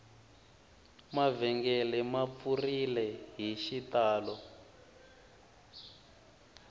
mavhengele ma pfurile hi xitalo